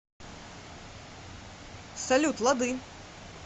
салют лады